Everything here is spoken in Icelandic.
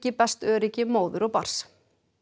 best öryggi móður og barns